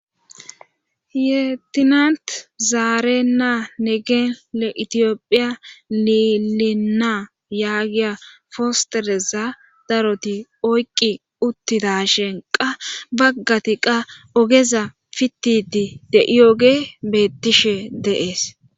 yeetinant zaarena negee le itiyophiya lilinaa yaagiya fostereza daroti oyqqi uttidashen qa baggati qa ogeza fittidi de7iyooge beettishe de7ees.